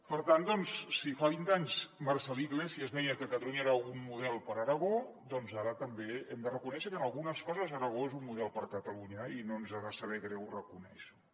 per tant doncs si fa vint anys marcel·lí iglesias deia que catalunya era un model per a aragó ara també hem de reconèixer que en algunes coses aragó és un model per a catalunya i no ens ha de saber greu reconèixer ho